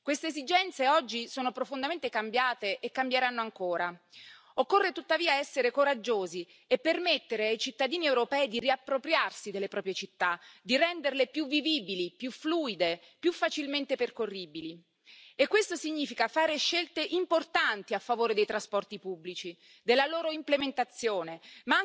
Mobilität muss sogar grenzüberschreitend eine reibungslose Tür zu Tür Beförderung ermöglichen. Dazu sollten die EU Bürger auf multimodalen Plattformen Reisen mit dem Zug, Bus und dem Flugzeug buchen können sowie bestenfalls mit nur einem einzigen Ticket reisen. Weder die saubersten und emissionsarmen Fahrzeuge noch Diesel Fahrverbote können das Hauptproblem in den Städten lösen nämlich